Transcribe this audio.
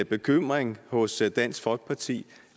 bekymring hos dansk folkeparti